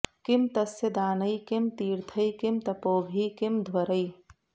किं तस्य दानैः किं तीर्थैः किं तपोभिः किमध्वरैः